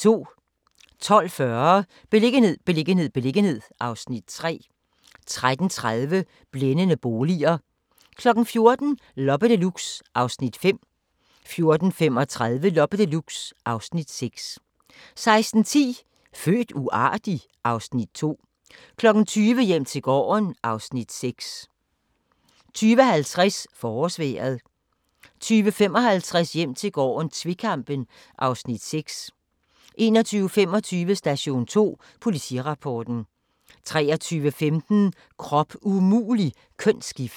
12:40: Beliggenhed, beliggenhed, beliggenhed (Afs. 3) 13:30: Blændende boliger 14:00: Loppe Deluxe (Afs. 5) 14:35: Loppe Deluxe (Afs. 6) 16:10: Født uartig? (Afs. 2) 20:00: Hjem til gården (Afs. 6) 20:50: Forårsvejret 20:55: Hjem til gården - tvekampen (Afs. 6) 21:25: Station 2: Politirapporten 23:15: Krop umulig - kønsskifte